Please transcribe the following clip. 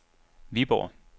Viborg